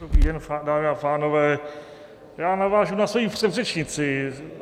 Dobrý den, dámy a pánové, já navážu na svoji předřečnici.